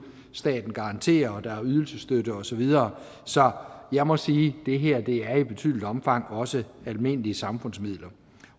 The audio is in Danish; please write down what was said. staten garanterer og der er ydelsesstøtte og så videre så jeg må sige det her i betydeligt omfang også er almindelige samfundsmidler